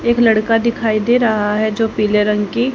एक लड़का दिखाई दे रहा है जो पीले रंग की--